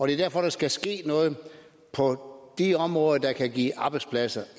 det er derfor der skal ske noget på de områder der kan give arbejdspladser